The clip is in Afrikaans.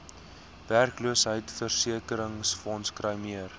werkloosheidsversekeringsfonds kry meer